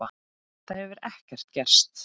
Það hefur ekki gerst.